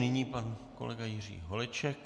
Nyní pan kolega Jiří Holeček.